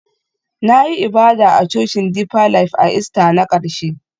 Na yi ibada a Cocin Deeper Life a Ista na ƙarshe